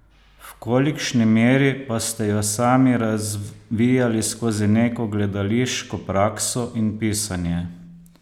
V kolikšni meri pa ste jo sami razvijali skozi neko gledališko prakso in pisanje?